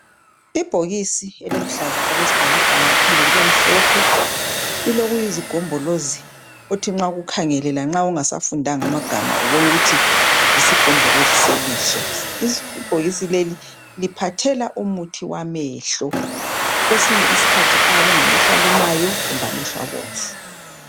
Ibhokisi eliluhlaza okwesibhakabhaka liphinde libemhlophe, lilokuyizigombolozi othi nxa ukukhangele lanxa ungasafundanga amagama ubone ukuthi yisigombolozi selihlo. Ibhokisi leli liphathela umuthi wamehlo kwesinye isikhathi ayabe engamehlo alumayo kumbe amehlo abomvu.